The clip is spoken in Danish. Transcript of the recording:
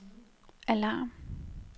alarm